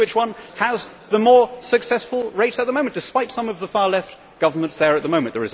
guess which one has the more successful rates at the moment, despite some of the far Left governments there at the moment.